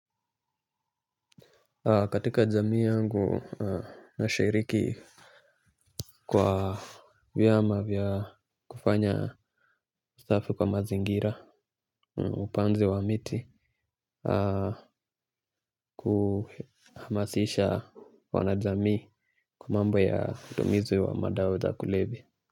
Katika jamii yangu nashiriki kwa vyama vya kufanya usafi kwa mazingira upanzi wa miti. Kuhamasisha wanajamii kwa mambo ya matumizi ya madawa za kulevya.